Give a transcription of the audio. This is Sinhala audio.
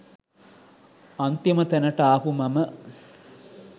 අන්තිම තැනට ආපු මම